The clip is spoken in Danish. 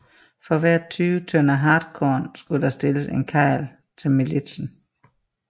For hver tyve tønder hartkorn skulle der stilles en karl til militsen